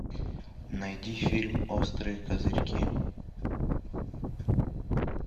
найди фильм острые козырьки